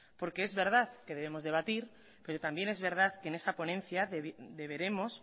porque es verdad que debemos debatir pero también es verdad que en esa ponencia deberemos